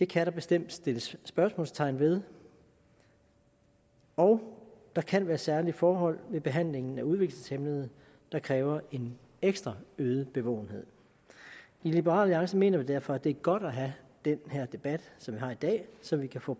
kan der bestemt sættes spørgsmålstegn ved og der kan være særlige forhold ved behandlingen af udviklingshæmmede der kræver en ekstra øget bevågenhed i liberal alliance mener vi derfor at det er godt at have den her debat som vi har i dag så vi kan få